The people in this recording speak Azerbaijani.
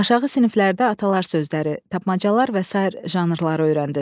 Aşağı siniflərdə atalar sözləri, tapmacalar və sair janrları öyrəndiz.